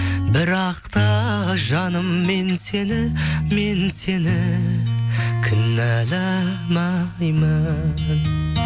бірақ та жаным мен сені мен сені кінәламаймын